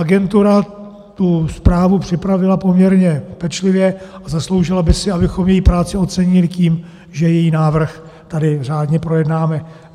Agentura tu zprávu připravila poměrně pečlivě a zasloužila by si, abychom její práci ocenili tím, že její návrh tady řádně projednáme.